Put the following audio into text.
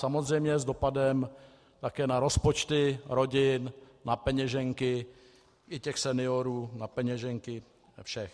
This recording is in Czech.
Samozřejmě s dopadem také na rozpočty rodin, na peněženky i těch seniorů, na peněženky všech.